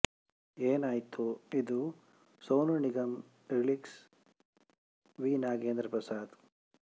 ಏನಾತೋ ಇದು Sonu Nigam lyrics V Nagendra Prasad